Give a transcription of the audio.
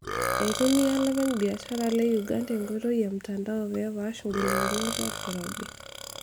Eitumia ilopeny biashara le Uganda enkoitoi e mtandao pee epaash ngolikinot olkirobi